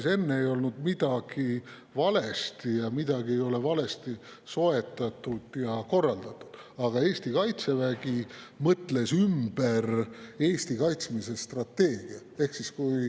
Ega enne ei olnud midagi valesti ja midagi ei ole valesti soetatud ega korraldatud, aga Eesti Kaitsevägi mõtles Eesti kaitsmise strateegia ümber.